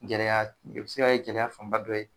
Gɛlɛya, o bɛ se ka kɛ gɛlɛya fanba dɔ ye.